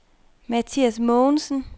Mathias Mogensen